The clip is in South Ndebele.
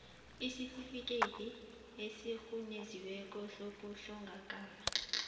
isitifikhethi esirhunyeziweko sokuhlongakala